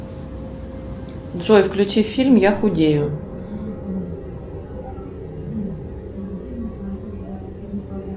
джой включи фильм я худею